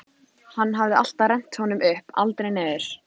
Hann hafði alltaf rennt honum upp, aldrei niður.